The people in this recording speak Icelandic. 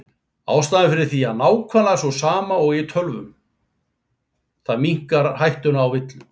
Ástæðan fyrir því er nákvæmlega sú sama og í tölvunum, það minnkar hættuna á villum.